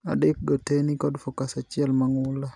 Adek go tee ni kod focus achiel mang'ula.